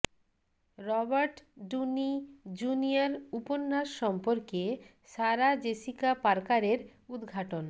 Robert Downey Junior উপন্যাস সম্পর্কে Sarah Jessica পার্কারের উদ্ঘাটন